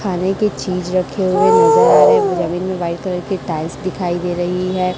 खाने की चीज रखे हुए नजर आ रहे है में व्हाइट कलर की टाइल्स दिखाई दे रही है।